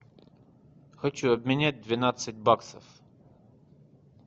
хочу обменять двенадцать баксов